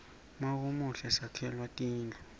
mawumuhle sakhelwa tindlu